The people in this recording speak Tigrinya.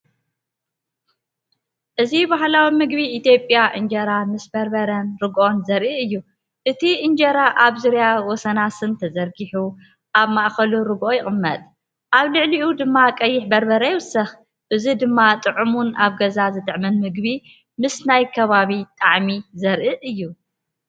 እዚ ባህላዊ ምግቢ ኢትዮጵያ፣ እንጀራ ምስ በርበረን ርግኦን ዘርኢ እዩ። እቲ እንጀራ ኣብ ዙርያ ወሰናስን ተዘርጊሑ፡ኣብ ማእከል ርግኦ ይቕመጥ፡ ኣብ ልዕሊኡ ድማ ቀይሕ በርበረ ይውሰኽ። እዚ ድማ ጥዑምን ኣብ ገዛ ዝጥዕምን ምግቢ፡ምስ ናይ ከባቢ ጣዕሚ ዘርኢ እዩ።